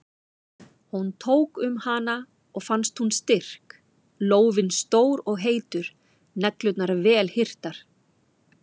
Hún tók um hana og fannst hún styrk, lófinn stór og heitur, neglurnar vel hirtar.